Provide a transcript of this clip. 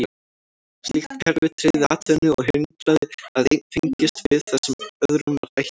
Slíkt kerfi tryggði atvinnu og hindraði að einn fengist við það sem öðrum var ætlað.